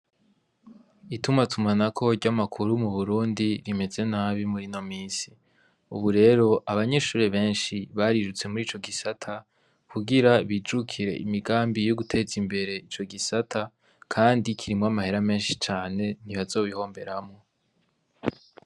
Itumatumanako ry'amakuru mu Burundi rimeze nabi muri ino misi, ubu rero abanyeshuri benshi barirutse muri ico gisata kugira bijukire imigambi yo guteza imbere ico gisata kandi kirimwo amahera menshi cane ntibazobihomberamwo.